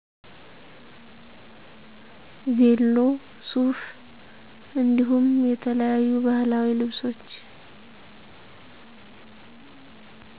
ቬሎ፣ ሱፍ እንዲሁም የተለያዩ ባህላዊ ልብሶች።